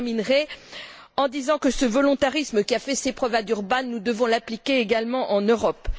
Je terminerai en disant que ce volontarisme, qui a fait ses preuves à Durban, nous devons l'appliquer également en Europe.